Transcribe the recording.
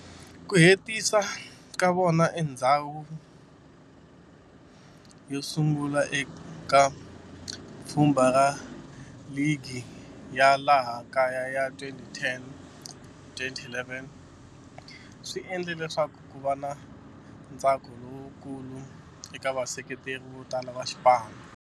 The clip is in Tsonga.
Ku hetisa ka vona eka ndzhawu yosungula eka pfhumba ra ligi ya laha kaya ya 2010-11 swi endle leswaku kuva na ntsako lowukulu eka vaseketeri votala va xipano.